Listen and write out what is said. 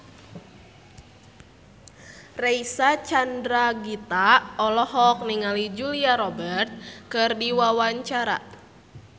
Reysa Chandragitta olohok ningali Julia Robert keur diwawancara